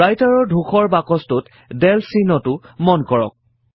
Writer ৰ ধূসৰ বাকছটোত del চিহ্নটো মন কৰক